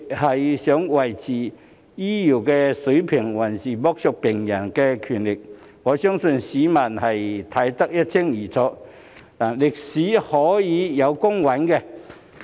是想維持醫療水平，還是要剝削病人權力，我相信市民會看得一清二楚，歷史亦會有公允的評價。